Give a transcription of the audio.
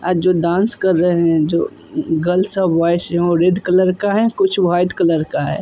आज जो डांस कर रहे हैं जो गर्ल्स और बॉयस हैं वो रेड कलर का है कुछ वाइट कलर का है ।